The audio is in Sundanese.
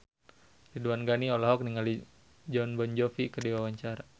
Ridwan Ghani olohok ningali Jon Bon Jovi keur diwawancara